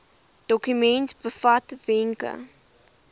dokument bevat wenke